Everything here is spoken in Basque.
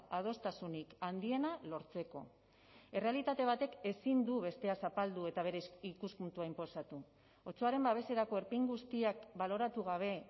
adostasunik handiena lortzeko errealitate batek ezin du bestea zapaldu eta bere ikuspuntua inposatu otsoaren babeserako erpin guztiak baloratu gabe